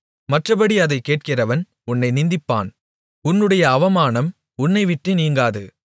மற்றப்படி அதைக் கேட்கிறவன் உன்னை நிந்திப்பான் உன்னுடைய அவமானம் உன்னைவிட்டு நீங்காது